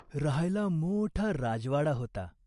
राहायला मोठा राजवाडा होता.